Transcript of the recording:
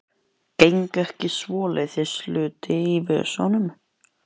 Geng ekki með svoleiðis hluti í vösunum.